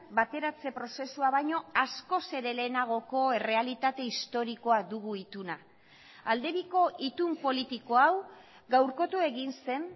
bateratze prozesua baino askoz ere lehenagoko errealitate historikoa dugu ituna aldebiko itun politikoa hau gaurkotu egin zen